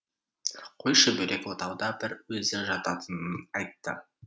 қойшы бөлек отауда бір өзі жататынын айтты